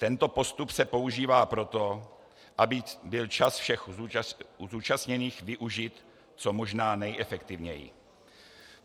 Tento postup se používá proto, aby byl čas všech zúčastněných využit co možná nejefektivněji.